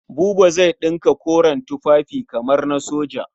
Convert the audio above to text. Buba zai ɗinka koren tufafi kamar na soja.